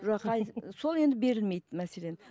сол енді берілмейді мәселен